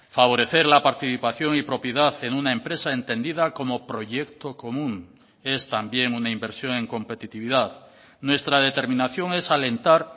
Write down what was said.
favorecer la participación y propiedad en una empresa entendida como proyecto común es también una inversión en competitividad nuestra determinación es alentar